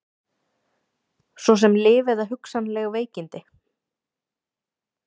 Svo sem lyf eða hugsanleg veikindi?